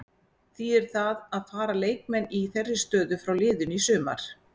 Þýðir það að fara leikmenn í þeirri stöðu frá liðinu í sumar?